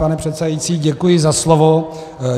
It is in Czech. Pane předsedající, děkuji za slovo.